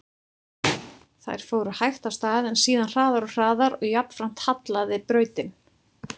Þær fóru hægt af stað, en síðan hraðar og hraðar og jafnframt hallaði brautin.